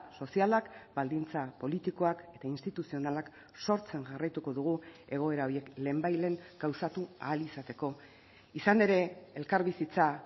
sozialak baldintza politikoak eta instituzionalak sortzen jarraituko dugu egoera horiek lehenbailehen gauzatu ahal izateko izan ere elkarbizitza